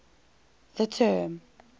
the term